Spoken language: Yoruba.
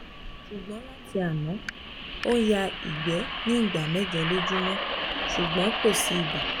ṣùgbọ́n láti àná ó ń ya igbe ní ìgbà mẹ́jọ lójúmọ́ ṣùgbọ́n kò sí ibà